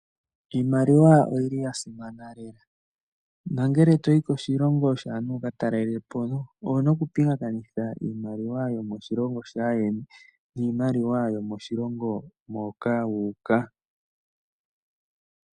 Iimaliwa oyi li ya simana lela nongele to yi koshilongo shaantu wu ka talele po owu na okupingakanitha iimaliwa yomoshilongo shaayeni niimaliwa yomoshilongo moka wu uka.